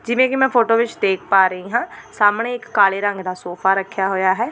ਜਿਵੇਂ ਕਿ ਮੈਂ ਫੋਟੋ ਵਿੱਚ ਦੇਖ ਪਾ ਰਹੀ ਹਾਂ ਸਾਹਮਣੇ ਇੱਕ ਕਾਲੇ ਰੰਗ ਦਾ ਸੋਫਾ ਰੱਖਿਆ ਹੋਇਆ ਹੈ।